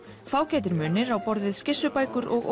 fágætir munir á borð við skissubækur og